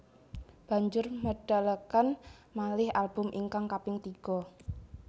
Banjur medalaken malih album ingkang kaping tiga